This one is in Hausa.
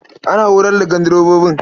Ana horar da gandirbobi.